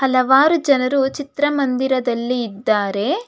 ಹಲವಾರು ಜನರು ಚಿತ್ರ ಮಂದಿರದಲ್ಲಿ ಇದ್ದಾರೆ.